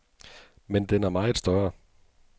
Men den er meget større.